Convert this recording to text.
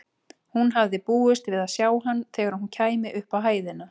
Hún hafði búist við að sjá hann þegar hún kæmi upp á hæðina.